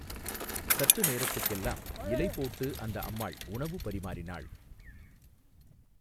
சற்று நேரத்துக்கெல்லாம் இலை போட்டு அந்த அம்மாள் உணவு பரிமாறினாள்.